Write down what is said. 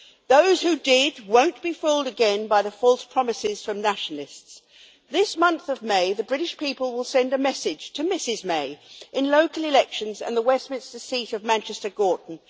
Those who did will not be fooled again by false promises from nationalists This month of May the British people will send a message to Mrs May in local elections and the Westminster seat of Manchester Gorton.